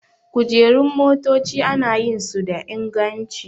Kujerun motaci ana yin su da inganci